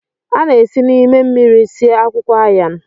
A na-esi n'ime mmiri sie akwụkwọ Ayan